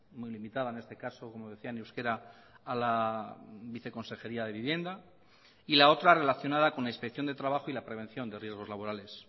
muy limitada en este caso como decía en euskera a la viceconsejería de vivienda y la otra relacionada con la inspección de trabajo y la prevención de riesgos laborales